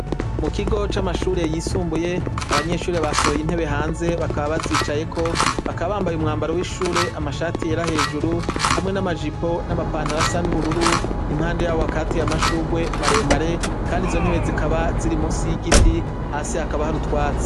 Mu kigo c'amashure yisumbuye abanyeshure basohoye intebe hanze bakaba bazicayeko, bakaba bambaye umwambaro w'ishure amashati yera hejuru hamwe n'amajipo n'amapantaro asa n'ubururu, impande yabo hakaba hateye amashurwe maremare, kandi izo ntebe zikaba ziri musi y'igiti, hasi hakaba hari utwatsi.